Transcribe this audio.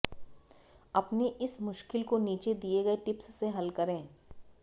अपनी इस मुश्किल को नीचे दिए गए टिप्स से हल करें